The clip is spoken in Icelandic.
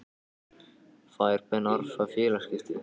Fær Ben Arfa félagaskipti?